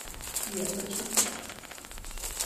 сбер зачем ты так